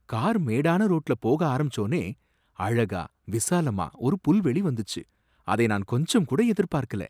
Car மேடான ரோட்டுல போக ஆரம்பிச்சோனே, அழகா, விசாலமா ஒரு புல்வெளி வந்துச்சு, அதை நான் கொஞ்சம்கூட எதிர்பார்க்கல.